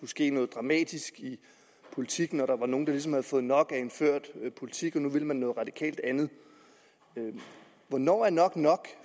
ske noget dramatisk i politik når der var nogle der ligesom havde fået nok af en ført politik og nu ville noget radikalt andet hvornår er nok nok